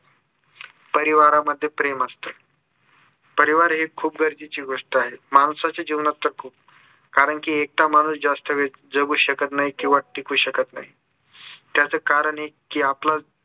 परिवारामध्ये प्रेम असतं परिवार हे खूप गरजेची गोष्ट आहे माणसाच्या जीवनात तर खूप कारण कि एकटा माणूस जास्त वेळ जगू शकत नाही किंवा टिकू शकत नाही त्याचं कारण हे कि आपला